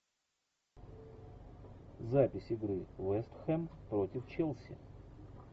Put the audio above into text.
запись игры вест хэм против челси